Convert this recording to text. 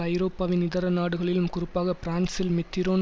ஐரோப்பாவின் இதர நாடுகளிலும் குறிப்பாக பிரான்சில் மித்திரோன்